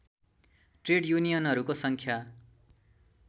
trade युनियनहरूको सङ्ख्या